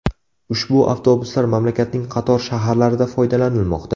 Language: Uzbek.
Ushbu avtobuslar mamlakatning qator shaharlarida foydalanilmoqda.